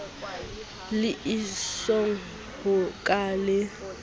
le esong ho ka le